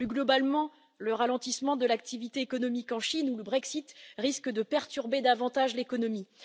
Plus globalement, le ralentissement de l'activité économique en Chine ou le Brexit risquent de perturber davantage l'économie.